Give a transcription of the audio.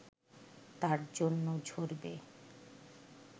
তার জন্য ঝরবে